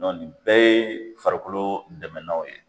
Nɔn nin bɛɛ ye farikolo dɛmɛnanw ye